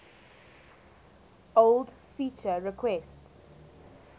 old feature requests